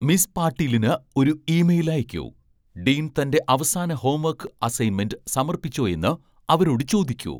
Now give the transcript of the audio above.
miss പാട്ടീലിന് ഒരു email അയക്കൂ, ഡീൻ തൻ്റെ അവസാന ഹോംവർക്ക് അസൈൻമെന്റ് സമർപ്പിച്ചോ എന്ന് അവരോട് ചോദിക്കൂ